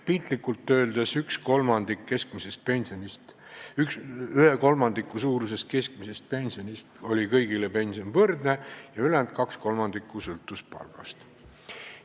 Piltlikult öeldes, ühe kolmandiku osas keskmisest pensionist oli kõigile pension võrdne ja ülejäänud kaks kolmandikku sõltus palgast.